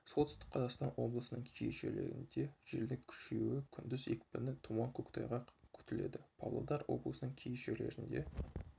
солтүстік қазақстан облысының кей жерлерінде желдің күшеюі күндіз екпіні тұман көктайғақ күтіледі павлодар облысының кей жерлерінде